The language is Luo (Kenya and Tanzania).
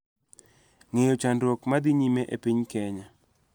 Ng�eyo chandruok ma dhi nyime e piny Kenya